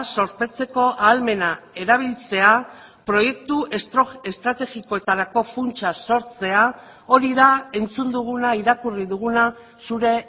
zorpetzeko ahalmena erabiltzea proiektu estrategikoetarako funtsa sortzea hori da entzun duguna irakurri duguna zure